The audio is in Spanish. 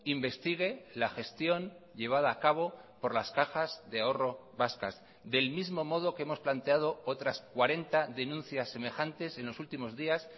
investigue la gestión llevada a cabo por las cajas de ahorro vascas del mismo modo que hemos planteado otras cuarenta denuncias semejantes en los últimos días